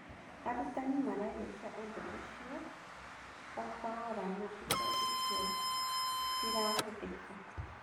Arutani maraiyūkia ūndū ūcio 0 kahora na indo icio itirahũthĩka.